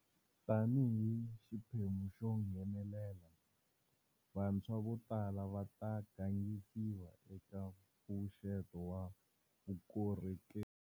Tanihi xiphemu xo nghenelela, vantshwa vo tala va ta gangisiwa eka mpfuxeto wa Vukorhokeri.